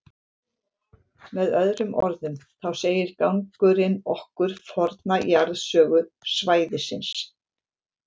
Með öðrum orðum, þá segir gangurinn okkur forna jarðsögu svæðisins.